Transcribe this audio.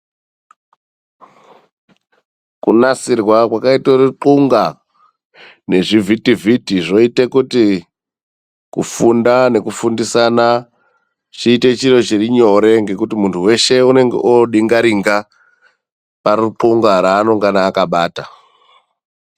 Kunasirwa kwakaitwa rukungwa nezvivhiti vhiti ,zvoita kuti kufunda nekufundisana chiitei chiro chiri nyore ngekuti unde weshe anonge odingaringa parukunga raanenge akabata.